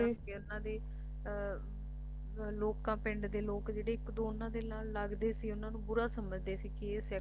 ਕਿ ਉਨ੍ਹਾਂ ਦੀ ਲੋਕਾਂ ਪਿੰਡ ਦੇ ਲੋਕ ਜਿਹੜੇ ਇੱਕ ਦੋ ਉਨ੍ਹਾਂ ਦੇ ਨਾਲ ਲੱਗਦੇ ਸੀ ਉਨ੍ਹਾਂ ਨੂੰ ਬੁਰਾ ਸਮਝਦੇ ਸੀ ਕਿ ਇਹ ਸਿੱਖ ਹੈ